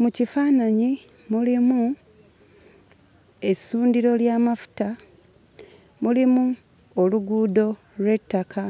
Mu kifaananyi mulimu essundiro ly'amafuta, mulimu oluguudo lw'ettaka.